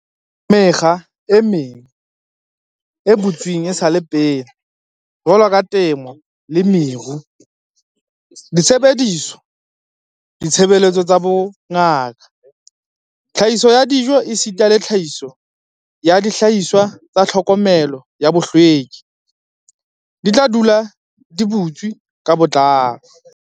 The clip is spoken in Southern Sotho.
Mekga e meng e butsweng esale pele, jwaloka temo le meru, disebediswa, ditshebeletso tsa bongaka, tlhahiso ya dijo esita le tlhahiso ya dihlahiswa tsa tlhokomelo ya bohlweki, di tla dula di butswe ka botlalo.